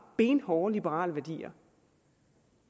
benhårde liberale værdier